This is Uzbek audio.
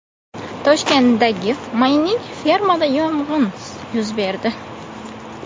Toshkentdagi mayning-fermada yong‘in yuz berdi.